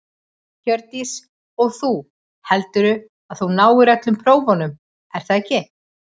Hjördís: Og þú, heldurðu að þú náir öllum prófunum er það ekki?